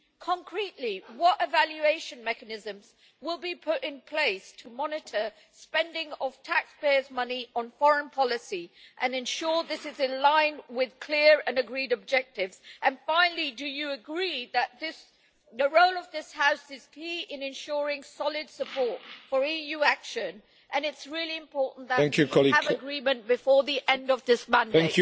Concretely, what evaluation mechanisms will be put in place to monitor the spending of taxpayers' money on foreign policy and ensure that it is in line with clear and agreed objectives? Finally, do you agree that the role of this House is key in ensuring solid support for EU action and that it is really important that we have agreement before the end of this mandate?